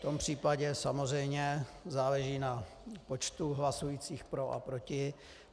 V tom případě samozřejmě záleží na počtu hlasujících pro a proti.